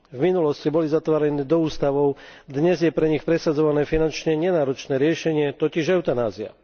V minulosti boli zatváraní do ústavov, dnes je pre nich presadzované finančne nenáročné riešenie, totiž eutanázia.